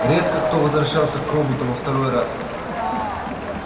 редко кто возвращался к роботу во второй раз